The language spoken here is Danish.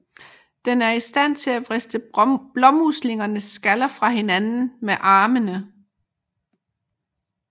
Den er i stand til at vriste blåmuslingens skaller fra hinanden med armene